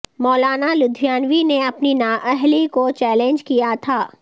مولانا لدھیانوی نے اپنی نااہلی کو چیلنج کیا تھا